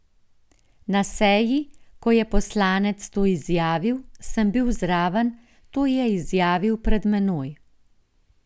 Na seji, ko je poslanec to izjavil, sem bil zraven, to je izjavil pred menoj.